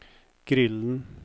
grillen